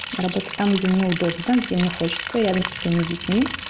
работа там где мне удобно там где мне хочется рядом со своими детьми